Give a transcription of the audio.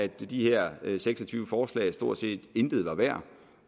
de her seks og tyve forslag stort set intet var værd